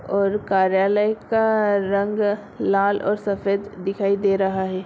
और कार्यालय का रंग लाल और सफ़ेद दिखाई दे रहा है।